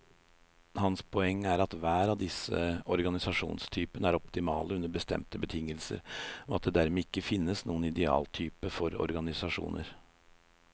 Hans poeng er at hver av disse organisasjonstypene er optimale under bestemte betingelser, og at det dermed ikke finnes noen idealtype for organisasjoner.